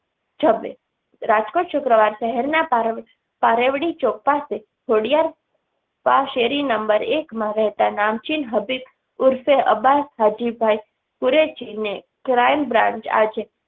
જભે રાજકોટ શુક્રવાર શહેરના પારેવ પારેવડી ચોક પાસે ખોડિયાર પા શેરી નંબર એકમાં રહેતા નામચીન હબીબ ઉર્ફે અબાસ હજીબભાઈ શૂરએશજીને crime branch આજે